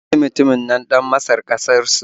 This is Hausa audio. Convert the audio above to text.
Ta bi mutunin nan ɗan Masar ƙasar su